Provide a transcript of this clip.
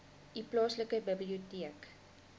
u plaaslike biblioteek